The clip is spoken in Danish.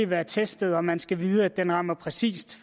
være testet og man skal vide at den rammer præcis